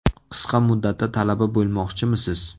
Qisqa muddatda talaba bo‘lmoqchimisiz?